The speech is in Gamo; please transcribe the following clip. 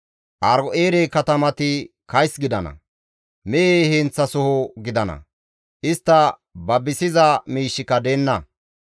Aaro7eere katamati kays gidana; mehe heenththasoho gidana; istta babisiza miishshika deenna.